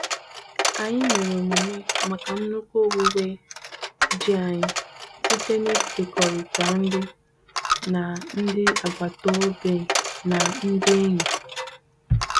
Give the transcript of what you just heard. Anyị mere emume maka nnukwu owuwe ji anyị site n'ịkekọrịta nri na ndị agbata obi na ndị enyi.